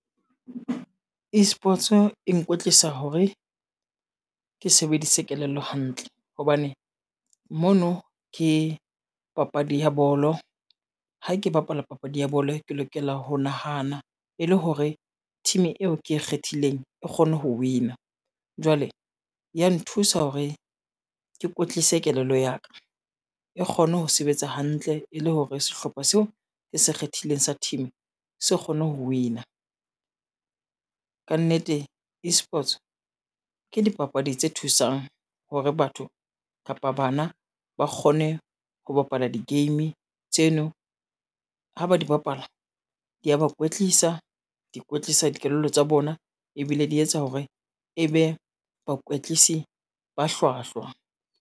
Esports e nkwetlisa hore ke sebedise kelello hantle hobane mono ke papadi ya bolo. Ha ke bapala papadi ya bolo ke lokela ho nahana e le hore team eo ke e kgethileng e kgone ho win-a. Jwale, ya nthusa hore ke kwetlise kelello ya ka e kgone ho sebetsa hantle e le hore sehlopha seo ke se kgethileng sa team se kgone ho win-a. Ka nnete Esports ke dipapadi tse thusang hore batho kapa bana ba kgone ho bapala di-game tseno, ha ba di bapala di a ba kwetlisa, di kwetlisa dikelello tsa bona ebile di etsa hore e be bakwetlisi ba hlwahlwa.